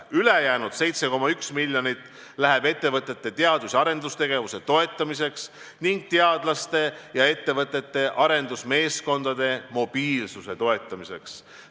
Ülejäänud 7,1 miljonit läheb ettevõtete teadus- ja arendustegevuse toetamiseks ning teadlaste ja ettevõtete arendusmeeskondade mobiilsuse toetamiseks.